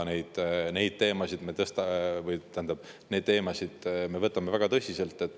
Neid teemasid me võtame väga tõsiselt.